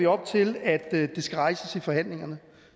op til at det skal rejses i forhandlingerne